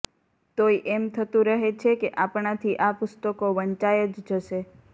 તોય એમ થતું રહે છે કે આપણાથી આ પુસ્તકો વંચાઈ જ જશે